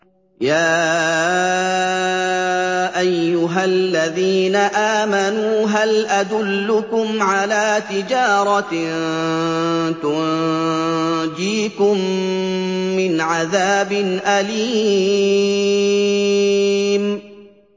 يَا أَيُّهَا الَّذِينَ آمَنُوا هَلْ أَدُلُّكُمْ عَلَىٰ تِجَارَةٍ تُنجِيكُم مِّنْ عَذَابٍ أَلِيمٍ